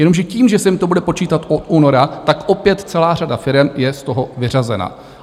Jenomže tím, že se jim to bude počítat od února, tak opět celá řada firem je z toho vyřazena.